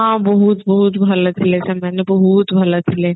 ହଁ ବହୁତ ବହୁତ ଭଲ ଥିଲେ ସେମାନେ ବହୁତ ଭଲ ଥିଲେ